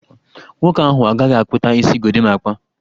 Nwoke ahụ agaghị akpụta isi Gorimapa